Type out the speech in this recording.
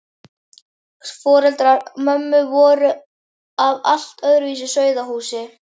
Foreldrar mömmu voru af allt öðru sauðahúsi.